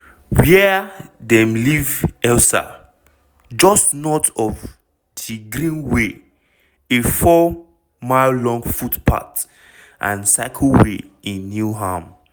wia dem leave elsa - just north of di greenway a four-mile long footpath and cycleway in newham.